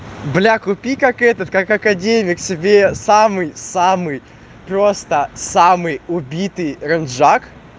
бля купи как этот как академик себе самый самый просто самый убитый ренджак